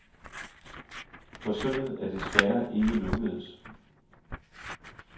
Forsøget er desværre ikke lykkedes.